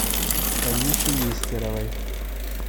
танюше нестеровой